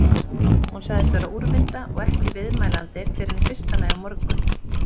Hún sagðist vera úrvinda og ekki viðmælandi fyrren í fyrsta lagi á morgun.